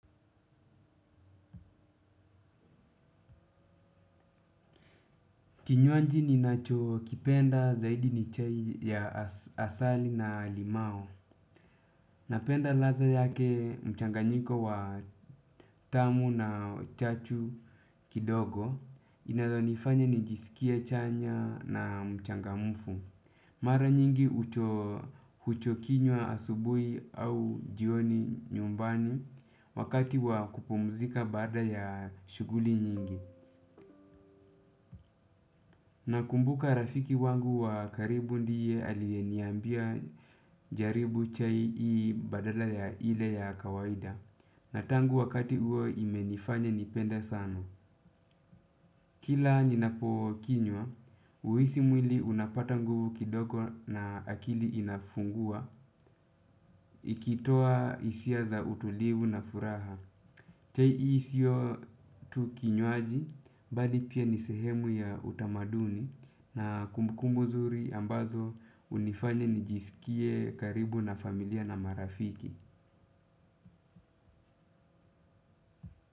Kinywaji ninacho kipenda zaidi ni chai ya asali na limao. Napenda ladha yake mchanganyiko wa tamu na chachu kidogo inazonifanya nijisikie chanya na mchangamfu. Mara nyingi huchokinywa asubuhi au jioni nyumbani wakati wa kupumzika baada ya shughuli nyingi. Nakumbuka rafiki wangu wa karibu ndiye aliyeniambia jaribu chai hii badala ya ile ya kawaida. Na tangu wakati huo imenifanya nipenda sana. Kila ninapo kinywa, huhisi mwili unapata nguvu kidogo na akili inafungua. Ikitoa hisia za utulivu na furaha chai hii sio tu kinywaji bali pia ni sehemu ya utamaduni. Na kumbukumbu nzuri ambazo unifanya nijisikie karibu na familia na marafiki.